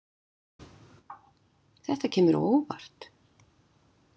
Þetta kemur á óvart